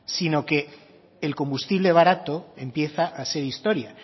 sino que el combustible barato empieza a ser historia